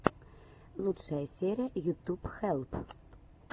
лучшая серия ютуб хелп